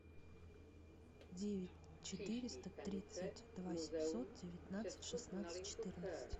девять четыреста тридцать два семьсот девятнадцать шестнадцать четырнадцать